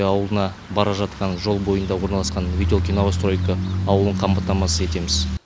ветелки ауылына бара жатқан жол бойында орналасқан ветелки новостройка ауылын қамтамасыз етеміз